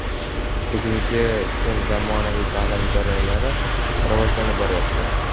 Bugungi kun zamonaviy ta’lim jarayonlari rivojlanib boryapti.